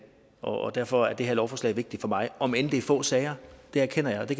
og derfor er det her lovforslag vigtigt for mig om end det er få sager det erkender jeg og de